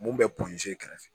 Mun bɛ kɛrɛfɛ